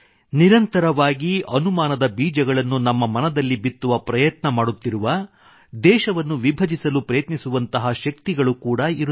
ಹಾಗೆಯೇ ನಿರಂತರವಾಗಿ ಅನುಮಾನದ ಬೀಜಗಳನ್ನು ನಮ್ಮ ಮನದಲ್ಲಿ ಬಿತ್ತುವ ಪ್ರಯತ್ನ ಮಾಡುತ್ತಿರುವ ದೇಶವನ್ನು ವಿಭಜಿಸಲು ಪ್ರಯತ್ನಿಸುವಂತಹ ಶಕ್ತಿಗಳು ಕೂಡಾ ಇರುತ್ತವೆ